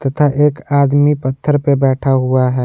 था एक आदमी पत्थर पर बैठा हुआ है।